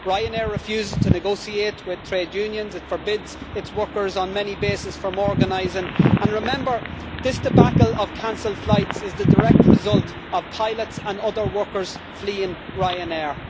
Ryanair refuses to negotiate with trade unions, it forbids its workers on many bases from organising, and remember this debacle of cancelled flights is the direct result of pilots and other workers fleeing Ryanair.